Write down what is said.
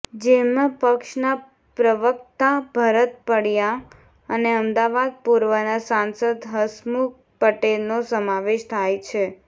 જેમાં પક્ષના પ્રવક્તા ભરત પંડ્યા અને અમદાવાદ પૂર્વના સાંસદ હસમુખ પટેલનો સમાવેશ થાય છે